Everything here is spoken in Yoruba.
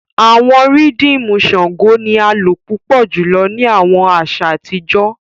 Awọn rhythmu Shango ni a lo pupọ julọ ni awọn aṣa atijọ.